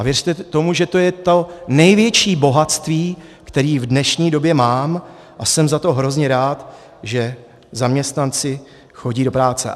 A věřte tomu, že to je to největší bohatství, které v dnešní době mám, a jsem za to hrozně rád, že zaměstnanci chodí do práce.